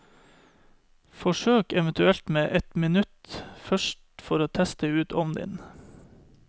Forsøk eventuelt med ett minutt først for å teste ut ovnen din.